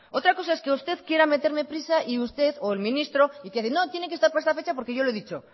otra cosa es que usted quiera meterme prisa y usted o el ministro y que dice no que tiene que estar para esta fecha porque yo lo he dicho